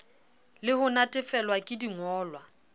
le ho natefelwa ke dingolwa